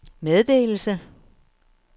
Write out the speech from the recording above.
meddelelse